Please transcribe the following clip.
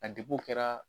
A debu kɛra